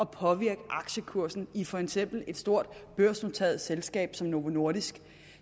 påvirke aktiekursen i for eksempel et stort børsnoteret selskab som novo nordisk